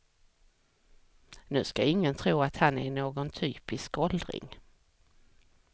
Nu ska ingen tro att han är någon typisk åldring.